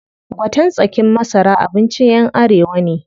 Gwaten tsakin masara abincin ƴan arewa ne.